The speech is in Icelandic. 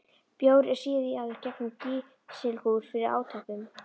Bjór er síaður gegnum kísilgúr fyrir átöppun.